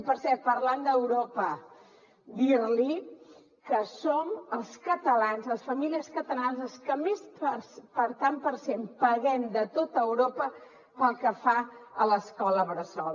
i per cert parlant d’europa dir li que som els catalans les famílies catalanes les que més tant per cent paguem de tot europa pel que fa a l’escola bressol